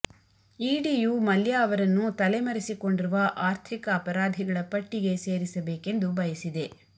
edu Mallya ಅವರನ್ನು ತಲೆಮರೆಸಿಕೊಂಡಿರುವ ಆರ್ಥಿಕ ಅಪರಾಧಿಗಳ ಪಟ್ಟಿಗೆ ಸೇರಿಸಬೇಕೆಂದು ಬಯಸಿದೆ